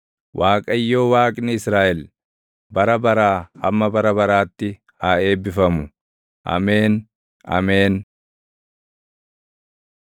Waaqayyo Waaqni Israaʼel, bara baraa hamma bara baraatti haa eebbifamu. Ameen; Ameen.